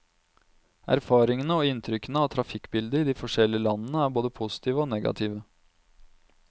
Erfaringene og inntrykkene av trafikkbildet i de forskjellige landene er både positive og negative.